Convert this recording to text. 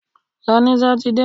Lọ ní sátidé!